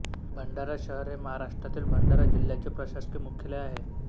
भंडारा शहर हे महाराष्ट्रातील भंडारा जिल्ह्याचे प्रशासकीय मुख्यालय आहे